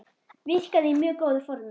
Virkaði í mjög góðu formi.